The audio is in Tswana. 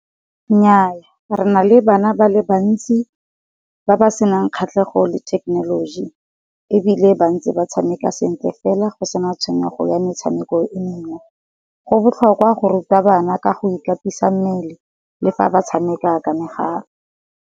Nnyaa re na le bana ba le bantsi, ba ba senang kgatlhego le technology, ebile ba ntse ba tshameka sentle fela go sena tshwenyego ya metshameko e mengwe. Go botlhokwa go ruta bana ka go ikatisa mmele le fa ba tshameka ka megala.